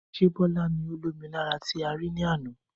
Ṣé Bọlá ni ó lomi lára tí a rí ní àna?